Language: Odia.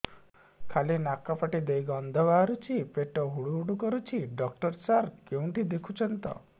ଖାଲି ନାକ ପାଟି ଦେଇ ଗଂଧ ବାହାରୁଛି ପେଟ ହୁଡ଼ୁ ହୁଡ଼ୁ କରୁଛି ଡକ୍ଟର ସାର କେଉଁଠି ଦେଖୁଛନ୍ତ